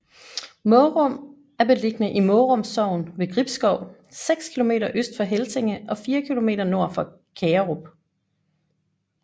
Mårum er beliggende i Mårum Sogn ved Gribskov seks kilometer øst for Helsinge og fire kilometer nord for Kagerup